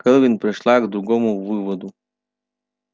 кэлвин пришла к другому выводу